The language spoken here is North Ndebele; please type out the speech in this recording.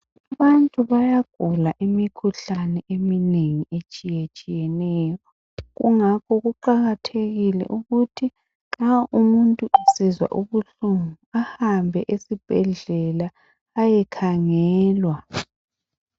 Abantu bayagula imikhuhlane eminengi etshiyetshiyeneyo kungakho kuqakathekile ukuthi nxa umuntu esizwa ubuhlungu ahambe esibhedlela ayekhangelwa